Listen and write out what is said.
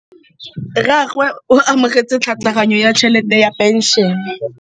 Rragwe o amogetse tlhatlhaganyô ya tšhelête ya phenšene.